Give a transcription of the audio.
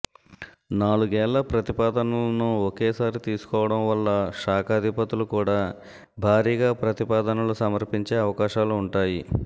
నాలుగేళ్ల ప్రతిపాదనలను ఒకేసారి తీసుకోవడం వల్ల శాఖాధిపతులు కూడా భారీగా ప్రతిపాదనలు సమర్పించే అవకాశాలు ఉంటాయి